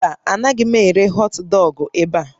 Mba, anaghị m ere họtdọọgụ ebe a